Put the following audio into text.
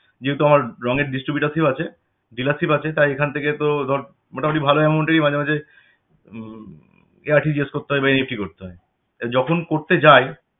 যেহেতু আমার রঙের distributorship আছে dealership আছে তাই এখন থেকে তো ধর মোটামুটি ভালো amount এই মাঝেমাঝে হম RTGS করতে হয় বা NEFT করতে হয়. যখন করতে যাই